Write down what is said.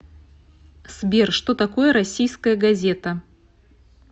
сбер что такое российская газета